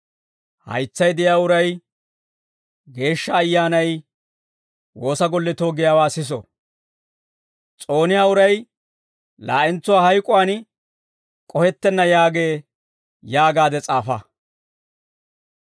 «Haytsay de'iyaa uray Geeshsha Ayyaanay woosa golletoo giyaawaa siso! «S'ooniyaa uray laa'entsuwaa hayk'uwaan k'ohettenna yaagee» yaagaade s'aafa.